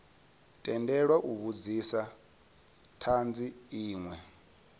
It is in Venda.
tendelwa u vhudzisa thanzi inwe